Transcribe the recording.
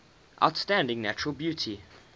outstanding natural beauty